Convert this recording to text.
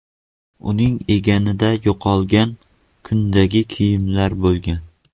Uning egnida yo‘qolgan kundagi kiyimlar bo‘lgan.